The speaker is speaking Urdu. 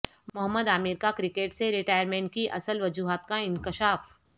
محمد عامر کا کرکٹ سے ریٹائرمنٹ کی اصل وجوہات کا انکشاف